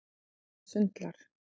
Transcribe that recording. Og hana sundlar.